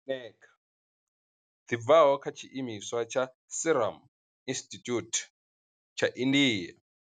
Eneca dzi bvaho kha tshiimiswa tsha Serum Institute tsha India.